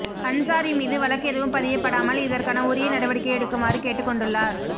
அன்சாரி மீது வழக்கு எதுவும் பதியப்படாமல் இதற்கான உரிய நடவடிக்கை எடுக்குமாறு கேட்டுக் கொண்டுள்ளார்